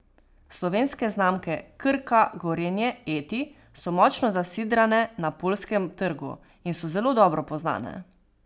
Slovenske znamke Krka, Gorenje, Eti so močno zasidrane na poljskem trgu in so zelo dobro poznane.